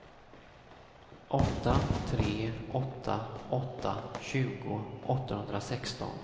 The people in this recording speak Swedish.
åtta tre åtta åtta tjugo åttahundrasexton